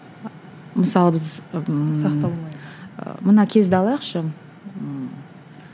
мысалы біз ммм мына кезді алайықшы ммм